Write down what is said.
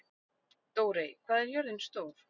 Dórey, hvað er jörðin stór?